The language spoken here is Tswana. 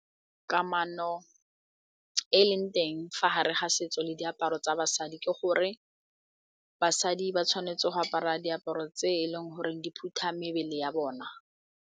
Kamano e e leng teng fa gare ga setso le diaparo tsa basadi ke gore basadi ba tshwanetse go apara diaparo tse e leng goreng di phutha mebele ya bona.